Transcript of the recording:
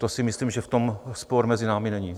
To si myslím, že v tom spor mezi námi není.